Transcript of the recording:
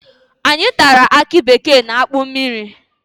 Anyị tara aki bekee na akpụ mmiri